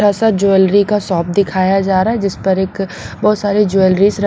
सा ज्वेलरी का शॉप दिखाया जा रहा है जिस पर एक बहुत सारी ज्वेलरी।